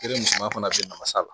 fana bɛ masa la